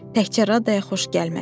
Təkcə Radaya xoş gəlmədi.